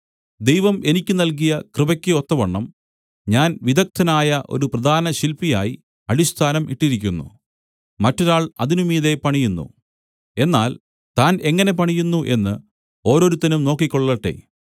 ദൈവം എനിക്ക് നൽകിയ കൃപയ്ക്ക് ഒത്തവണ്ണം ഞാൻ വിദഗ്ദ്ധനായ ഒരു പ്രധാനശില്പിയായി അടിസ്ഥാനം ഇട്ടിരിക്കുന്നു മറ്റൊരാൾ അതിന് മീതെ പണിയുന്നു എന്നാൽ താൻ എങ്ങനെ പണിയുന്നു എന്ന് ഓരോരുത്തനും നോക്കിക്കൊള്ളട്ടെ